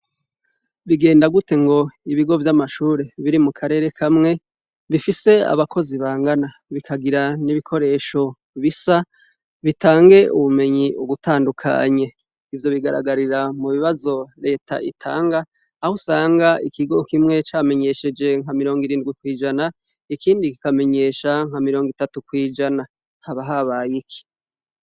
Bigenda gute ngo ibigo vy'amashure biri mu karere kamwe bifise abakozi bangana, bikagira n'ibikoresho bisa bitange ubumenyi ugutandukanye? Ivyo bigaragarira mu bibazo leta itanga aho usanga ikigo kimwe camenyesheje nka mirongirindwi kw'ijana ikindi kikamenyesha nka mirongitatu kw'ijana. Haba habaye iki?